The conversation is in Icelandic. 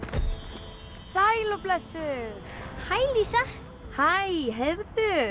sæl og blessuð hæ Lísa hæ heyrðu